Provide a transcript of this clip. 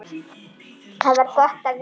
Þar var gott að vera.